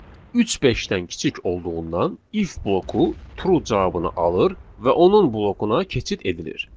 Üç beşdən kiçik olduğundan if bloku true cavabını alır və onun blokuna keçid edilir.